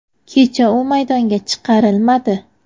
Kecha u maydonga chiqarilmadi.